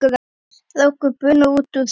Strákur bunaði út úr sér